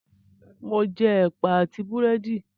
Mò ún jẹ Ẹ̀pà àti Búrẹ́dì